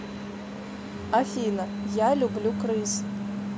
афина я люблю крыс